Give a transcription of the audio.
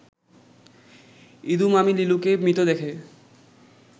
ইদু মামি লিলুকে মৃত দেখে